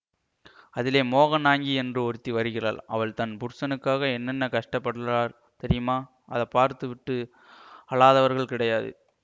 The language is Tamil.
அதிலே மோகனாங்கி என்று ஒருத்தி வருகிறாள் அவள் தன் புருஷனுக்காக என்னென்ன கஷ்ட பட்றாள் தெரியுமா அதை பார்த்து விட்டு அழாதவர்கள் கிடையாது